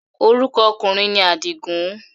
Orúkọ ọkùnrin ni Àdìgùn.